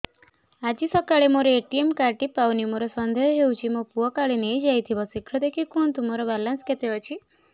ଆଜି ସକାଳେ ମୋର ଏ.ଟି.ଏମ୍ କାର୍ଡ ଟି ପାଉନି ମୋର ସନ୍ଦେହ ହଉଚି ମୋ ପୁଅ କାଳେ ନେଇଯାଇଥିବ ଶୀଘ୍ର ଦେଖି କୁହନ୍ତୁ ମୋର ବାଲାନ୍ସ କେତେ ଅଛି